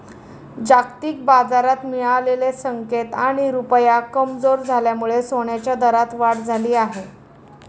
जागतिक बाजारात मिळालेले संकेत आणि रुपया कमजोर झाल्यामुळे सोन्याच्या दरात वाढ झाली आहे.